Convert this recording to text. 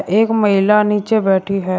एक महिला नीचे बैठी है।